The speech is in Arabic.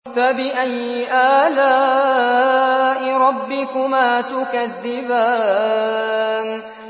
فَبِأَيِّ آلَاءِ رَبِّكُمَا تُكَذِّبَانِ